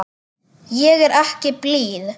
Ég er ekki blíð.